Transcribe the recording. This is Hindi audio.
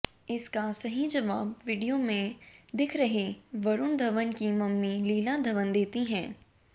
इसका सही जवाब वीडियो में दिख रही वरुण धवन की मम्मी लीला धवन देती हैं